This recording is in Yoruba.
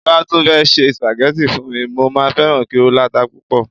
ti o ba tun fẹ se spaghetti fún mi, mo ma feran ki o lata pupo